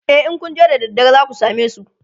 e in Kun je da daddare zaku samesu